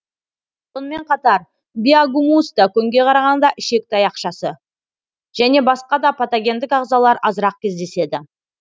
сонымен қатар биогумуста көңге қарағанда ішек таяқшасы және басқа да патогендік ағзалар азырақ кездеседі